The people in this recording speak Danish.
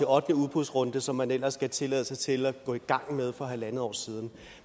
ottende udbudsrunde som man ellers skulle tilladelse til at gå i gang med for halvanden år siden